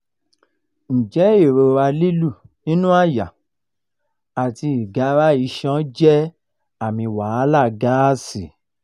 njẹ irora lilu ninu àyà ati igara iṣan je aami wahala gaasi?